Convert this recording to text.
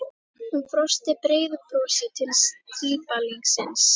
Hún brosti breiðu brosi til strípalingsins.